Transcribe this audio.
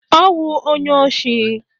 Ọ wụ onye osi.